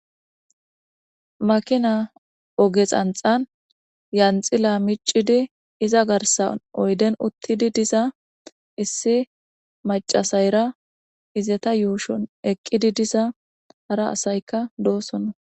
makina oge xanxan yanxila micidi iza garsan oyden uttidi diza issi macasayra izeta yuushun eqqidi diza hara asaykka doosona